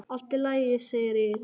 Allt í lagi, segir Egill.